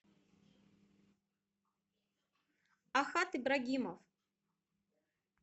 ахат ибрагимов